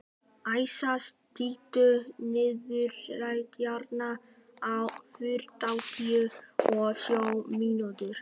Æsa, stilltu niðurteljara á þrjátíu og sjö mínútur.